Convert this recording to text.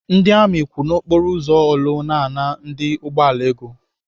Ndị amị kwụ n'okporo ụzọ Orlu ana ndị ụgbọala ego.